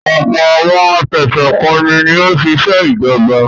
Ọ̀pọ̀ àwọn afẹ̀sùnkanni ni òṣìṣẹ́ ìjọba.